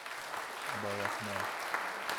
балахне